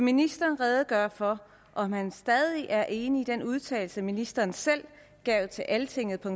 ministeren redegøre for om han stadig er enig i den udtalelse ministeren selv gav til altingetdk